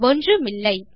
ஒன்றுமில்லை